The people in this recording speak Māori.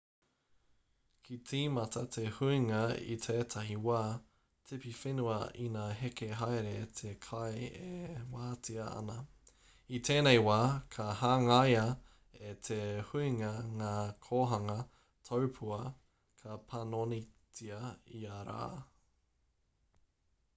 ka tīmata te huinga i tētahi wā tipiwhenua ina heke haere te kai e wātea ana i tēnei wā ka hangaia e te huinga ngā kōhanga taupua ka panonitia ia rā